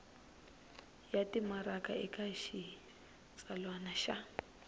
ya timaraka eka xitsalwana xa